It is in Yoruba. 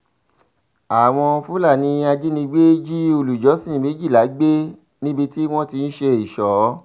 àwọn fúlàní ajínigbé jí olùjọ́sìn méjìlá gbé níbi tí wọ́n ti ń ṣe ìṣó